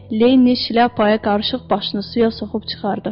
Lenni şlyapaya qarışıq başını suya soxub çıxardı.